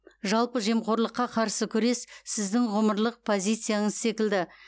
жалпы жемқорлыққа қарсы күрес сіздің ғұмырлық позицияныз секілді